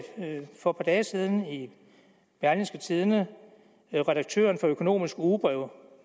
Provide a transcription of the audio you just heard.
for et par dage siden i berlingske tidende at redaktøren for økonomisk ugebrev